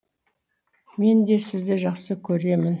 мен де сізді жақсы көремін